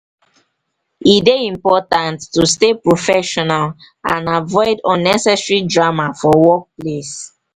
e dey important to stay professional and avoid unnecessary drama for workplace.